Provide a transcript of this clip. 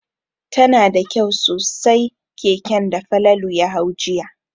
Tana da kyau sosai keken da Falalu ya hau jiya.